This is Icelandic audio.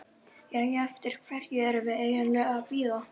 Jæja, eftir hverju erum við eiginlega að bíða?